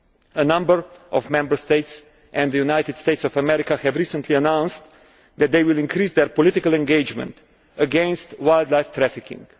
A number of Member States and the United States of America have recently announced that they will increase their political engagement against wildlife trafficking.